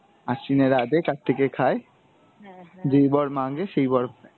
আশ্বিনের রাঁধে কার্তিকে খায়, যেই বর মাঙ্গে সেই বর পায়।